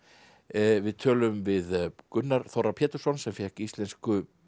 við tölum við Gunnar Þorra Pétursson sem fékk Íslensku